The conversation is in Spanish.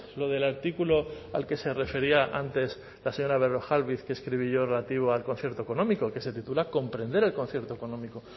lo del artículo al que se refería antes la señora berrojalbiz que escribí yo relativo al concierto económico que se titula comprender el concierto económico